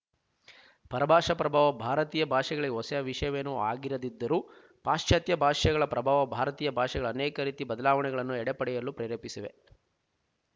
ಪರಭಾಷಾ ಪ್ರಭಾವ ಭಾರತೀಯ ಭಾಷೆಗಳಿಗೆ ಹೊಸ ವಿಶಯವೇನು ಆಗಿರದಿದ್ದರೂ ಪಾಶಚಾತ್ಯ ಭಾಷೆಗಳ ಪ್ರಭಾವ ಭಾರತೀಯ ಭಾಷೆಗಳಲ್ಲಿ ಅನೇಕ ರೀತಿ ಬದಲಾವಣೆಗಳು ಎಡೆಪಡೆಯಲು ಪ್ರೇರೆಪಿಸಿವೆ